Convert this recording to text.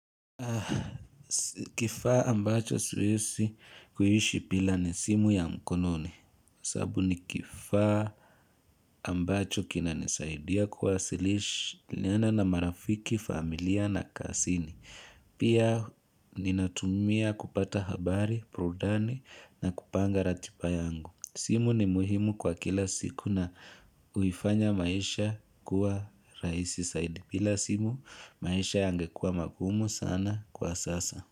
Kifaa ambacho siwezi kuishi bila ni simu ya mkononi. Sababu ni kifaa ambacho kina nisaidia kuwasilishi. Nena na marafiki, familia na kazini. Pia ninatumia kupata habari, burudani na kupanga ratiba yangu. Simu ni muhimu kwa kila siku na huifanya maisha kuwa raisi zaidi. Bila simu, maisha yangekua magumu sana kwa sasa.